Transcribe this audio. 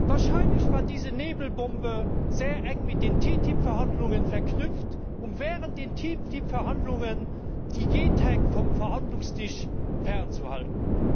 Wahrscheinlich war diese Nebelbombe sehr eng mit den TTIP Verhandlungen verknüpft, um während der TTIP Verhandlungen die Gentechnik vom Verhandlungstisch fernzuhalten.